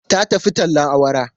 Ta tafi tallen awara.